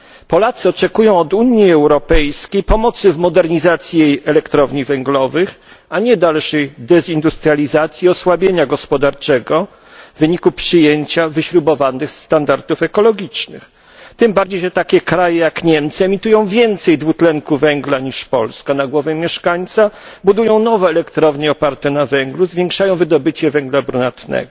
Polacy oczekują od Unii Europejskiej pomocy w modernizacji jej elektrowni węglowych, a nie dalszej dezindustrializacji i osłabienia gospodarczego w wyniku przyjęcia wyśrubowanych standardów ekologicznych, tym bardziej, że takie kraje jak Niemcy emitują więcej dwutlenku węgla na głowę mieszkańca niż Polska, budują nowe elektrownie oparte na węglu, zwiększają wydobycie węgla brunatnego.